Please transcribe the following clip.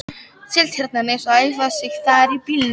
Seltjarnarnes og æfa sig þar í bílnum.